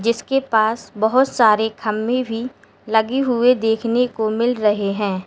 इसके पास बहोत सारे खम्मे भी लगी हुई देखने को मिल रहे हैं।